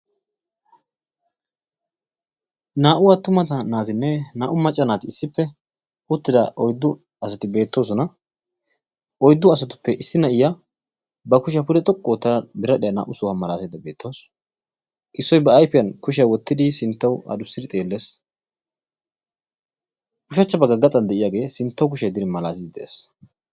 Naa"u attuma naatinne naa"u macca naati issippe uttida oyddu asati beettoosona. Oyddu asatuppe issi na'iya ba kushiya pude xoqqu oottada biradhdhiya naa"u sohuwa maalaataydda beettawusu. Issoy ba ayfiyan kushiya wottidi sinttawu adussidi xeellees. Ushshachcha bagga gaxan de'iyagee sinttawu kushiya yeddidi maalaatiddi de'ees.